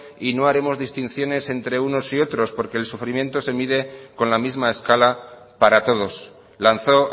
y no haremos distinciones entre unos y otros porque el sufrimiento se mide con la misma escala para todos lanzó